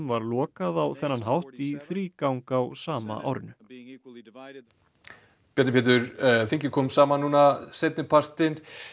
var lokað á þennan hátt í þrígang á sama árinu Bjarni Pétur þingið kom saman núna seinni partinn